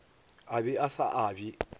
a be a sa abje